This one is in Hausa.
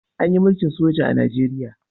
Anyi mulkin soja a nigeria